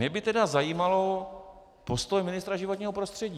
Mě by tedy zajímal postoj ministra životního prostředí.